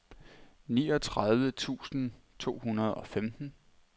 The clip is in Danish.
niogtredive tusind to hundrede og femten